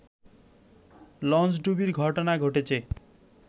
লঞ্চডুবির ঘটনা ঘটেছে